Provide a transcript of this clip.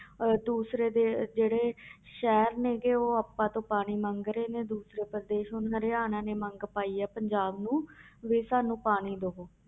ਅਹ ਦੂਸਰੇ ਦੇ ਜਿਹੜੇ ਸ਼ਹਿਰ ਨੇ ਗੇ ਉਹ ਆਪਾਂ ਤੋਂ ਪਾਣੀ ਮੰਗ ਰਹੇ ਨੇ ਦੂਸਰੇ ਪ੍ਰਦੇਸ, ਹੁਣ ਹਰਿਆਣਾ ਨੇ ਮੰਗ ਪਾਈ ਹੈ ਪੰਜਾਬ ਨੂੰ ਵੀ ਸਾਨੂੰ ਪਾਣੀ ਦੇਵੋ।